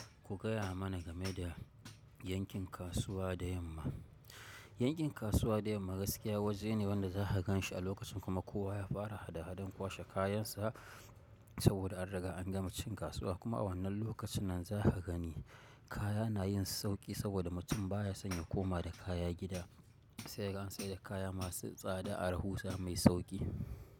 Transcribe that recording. Ku gaya mana game da yankin kasuwa da yamma. Yankin kasuwa da yamma gaskiya waje ne wanda za ka ganshi a lokacin kuma kowa ya fara hada-hadan kwashe kayansa saboda an riga an gama cin kasuwa. Kuma a wannan lokacin nan za ka gani kaya na yin sauƙi saboda mutum baya son ya koma da kaya gida sai kaga an sai da kaya masu tsada a rahusa mai sauƙi.